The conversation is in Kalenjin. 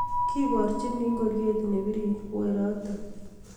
Kiborchini ngoriet nebirir werotok